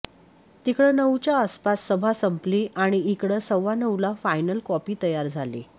तिकडं नऊच्या आसपास सभा संपली आणि इकडं सव्वानऊला फायनल कॉपी तयार झाली